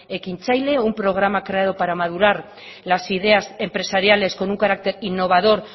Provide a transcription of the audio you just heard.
ekintzaile un programa creado para madurar las ideas empresariales con un carácter innovador